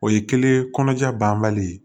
O ye kelen ye kɔnɔja banbali